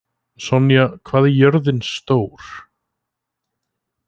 Sonja, hvað er jörðin stór?